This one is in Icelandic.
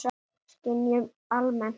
Skynjun almennt